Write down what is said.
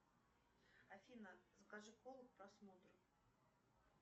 афина закажи колу к просмотру